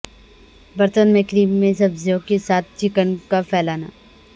برتن میں کریم میں سبزیوں کے ساتھ چکن کا پھیلانا